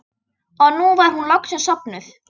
Og nú var hún loksins sofnuð.